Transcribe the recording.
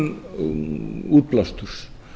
um minnkun útblásturs